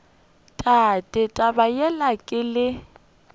tate taba yela ke le